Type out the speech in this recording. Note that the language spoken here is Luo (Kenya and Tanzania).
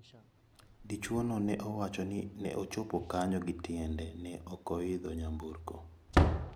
Dichwono ne owacho ni ne ochopo kanyo gi tiende ne ok oyidho nyamburko.